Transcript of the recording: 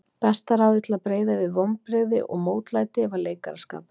Besta ráðið til að breiða yfir vonbrigði og mótlæti var leikaraskapur.